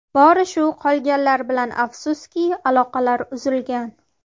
Bori shu, qolganlar bilan afsuski, aloqalar uzilgan.